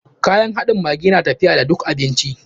Kayan haɗin maggi na tafiya da duk abinci.